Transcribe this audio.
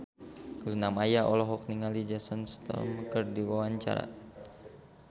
Luna Maya olohok ningali Jason Statham keur diwawancara